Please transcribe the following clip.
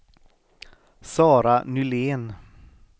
Sara Nylén